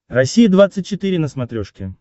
россия двадцать четыре на смотрешке